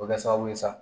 O bɛ kɛ sababu ye sa